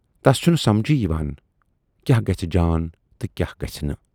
تَس چھُنہٕ سمجھے یِوان کیاہ گژھِ جان تہٕ کیاہ نہٕ۔